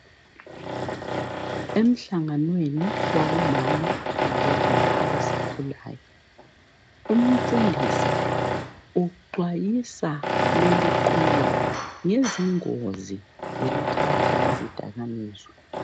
Emhlanganweni wabomama labobaba abasakhulayo umfundisi uxwayisa leliqula ngezingozi zokuthatha izidakamizwa.